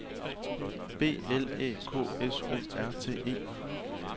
B L Æ K S O R T E